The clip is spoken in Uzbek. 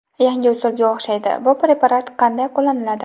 Yangi usulga o‘xshaydi, bu preparat qanday qo‘llaniladi?